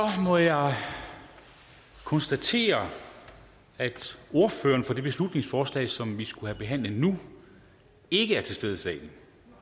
må jeg konstatere at ordføreren for det beslutningsforslag som vi skal behandlet nu ikke er til stede i salen